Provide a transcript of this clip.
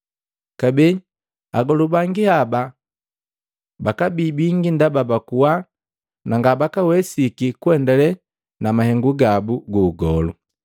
Kabee, Agolu bangi haba bakabii bingi ndaba bakuwa na ngabakawesiki kuendale na mahengu gabu gu ugolu.